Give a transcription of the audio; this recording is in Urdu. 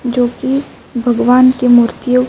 جو کی بھگوان کی مورتیو